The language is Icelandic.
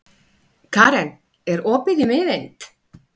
Karen, er opið í Miðeind?